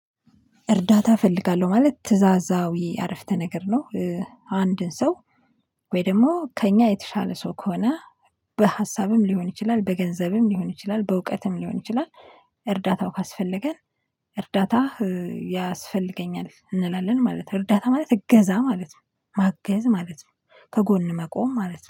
እርዳታ እፈልጋለሁ ማለት ትእዛዛዊ አረፍተ ነገር ነው። አንድን ሰው ወይ ደግሞ ከእኛ የተሻለ ሰው ከሆነ በሀሳብም ሊሆን ይችላል በገንዘብም ሊሆን ይችላል በእውቀትም ሊሆን ይችላል። እርዳታው ካስፈለገን እርዳታ ያስፈልገኛል እንላለን ማለት ነው። እርዳታ ማለት እገዛ ማለት ነው። ማገዝ ማለት ነው ከጎን መቆም ማለት ነው